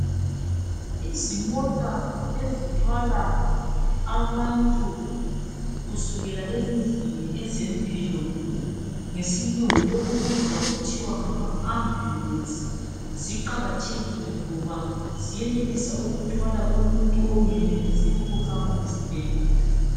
Izimota ezithwala abantu kusukela ezindlini ezempilo ngesilungu okubizwa kuthiwa ngama ambulensi ziqakathekile kakhulu ngoba ziyenelisa ukuthwala umuntu ongenelisiyo ukuhamba esibhedlela.